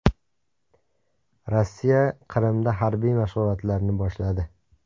Rossiya Qrimda harbiy mashg‘ulotlarni boshladi.